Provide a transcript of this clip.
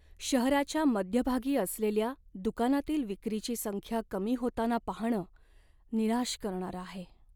शहराच्या मध्यभागी असलेल्या दुकानातील विक्रीची संख्या कमी होताना पाहणं निराश करणारं आहे.